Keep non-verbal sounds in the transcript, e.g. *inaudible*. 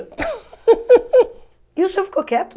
*laughs* E o senhor ficou quieto?